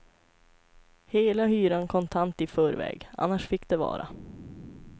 Hela hyran kontant i förväg, annars fick det vara.